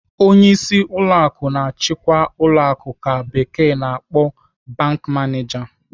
Onyeisi ụlọ akụ na-achikwa ụlọ akụ ka bekee na-akpọ 'bank manager.'